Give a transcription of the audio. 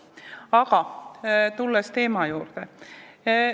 Aga tulen teema juurde.